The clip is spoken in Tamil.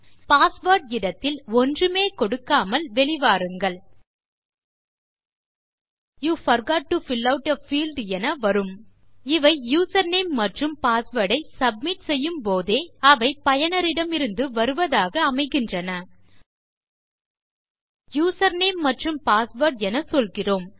பாஸ்வேர்ட் இடத்தில் ஒன்றுமே கொடுக்காமல் வெளிவாருங்கள் you forgot to fill out a field என வரும் இவை யூசர்நேம் மற்றும் பாஸ்வேர்ட் ஐ சப்மிட் செய்யும் போதே அவை பயனரிடமிருந்து வருவதாக அமைகின்றன யூசர்நேம் மற்றும் passwordஎன சொல்கிறோம்